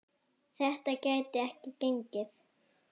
Þetta gæti ekki gengið.